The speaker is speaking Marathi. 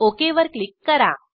ओक वर क्लिक करा